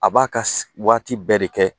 A b'a ka waati bɛɛ de kɛ